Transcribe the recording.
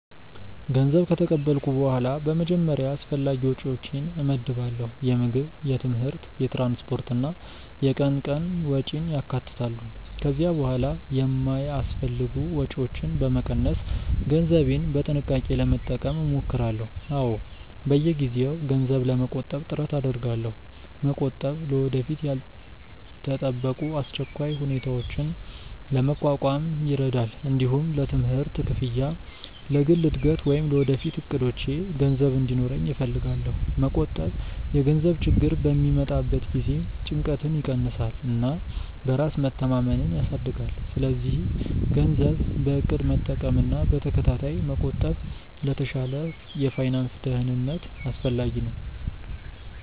ገንዘብ ከተቀበልኩ በኋላ በመጀመሪያ አስፈላጊ ወጪዎቼን እመድባለሁ። የምግብ፣ የትምህርት፣ የትራንስፖርት እና የቀን ቀን ወጪን ያካትታሉ። ከዚያ በኋላ የማይአስፈልጉ ወጪዎችን በመቀነስ ገንዘቤን በጥንቃቄ ለመጠቀም እሞክራለሁ። አዎ፣ በየጊዜው ገንዘብ ለመቆጠብ ጥረት አደርጋለሁ። መቆጠብ ለወደፊት ያልተጠበቁ አስቸኳይ ሁኔታዎችን ለመቋቋም ይረዳል። እንዲሁም ለትምህርት ክፍያ፣ ለግል እድገት ወይም ለወደፊት እቅዶቼ ገንዘብ እንዲኖረኝ እፈልጋለሁ። መቆጠብ የገንዘብ ችግር በሚመጣበት ጊዜ ጭንቀትን ይቀንሳል እና በራስ መተማመንን ያሳድጋል። ስለዚህ ገንዘብን በእቅድ መጠቀምና በተከታታይ መቆጠብ ለተሻለ የፋይናንስ ደህንነት አስፈላጊ ነው።